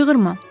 Çığırma.